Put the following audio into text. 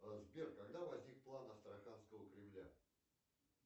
сбер когда возник план астраханского кремля